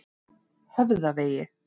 Höfðavegi